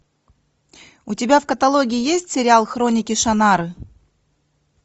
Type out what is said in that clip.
у тебя в каталоге есть сериал хроники шаннары